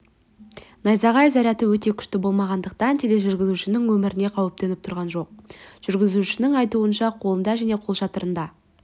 найзағай заряды өте күшті болмағандықтан тележүргізушінің өміріне қауіп төніп тұрған жоқ жүргізушінің айтуынша қолында және қолшатырында